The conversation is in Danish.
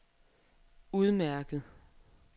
udmærket